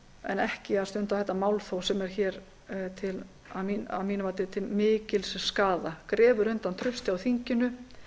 en ekki að stunda þetta málþóf sem er að mínu mati til mikils skaða grefur undan trausti á þinginu